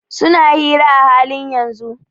Suna hira a halin yanzun.